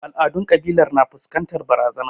Al'adun kabilar na fuskantar barazana.